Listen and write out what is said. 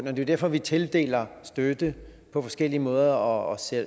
er jo derfor vi tildeler støtte på forskellige måder og